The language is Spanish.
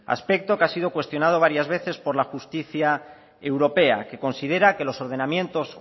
aspecto que ha sido cuestionado varias veces por la justicia europea que considera que los ordenamientos